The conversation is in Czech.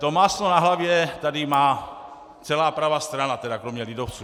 To máslo na hlavě tady má celá pravá strana, tedy kromě lidovců.